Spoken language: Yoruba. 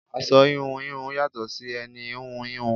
Aṣọ íhùn íhùn yàtò sì ẹni íhùn íhùn.